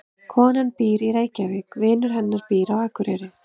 Konan býr í Reykjavík. Vinur hennar býr á Akureyri.